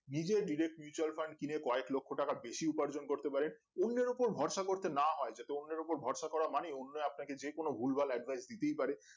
নিজেই direct mutual fund কিনে কয়েক লক্ষ টাকা বেশি উপার্জন করতে পারেন অন্যের উপর ভরসা করতে না হয় যাতে ওনার উপর ভরসা করে অন্যরা আপনাকে ভুলভাল বলতেই পারে